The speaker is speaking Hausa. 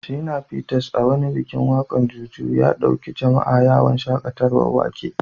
Shina Peters, a wani bikin waka na Juju, ya dauki jama’a yawon shakatawar wake.